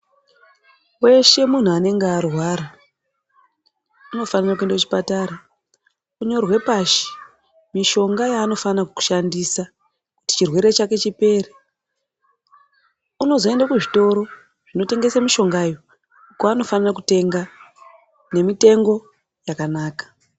Weshe munhu anenge arwara unofane kuende kuchipatara onyorwe pashi mishonga yaanofana kushandisa kuti chirwere chake chipere unozoende kuzvitoro kwaanofane kutenge mishongayo kwaanofane kutenga nemitengo yakanaka.